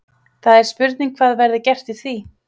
Það er spurning hvað verði gert í því?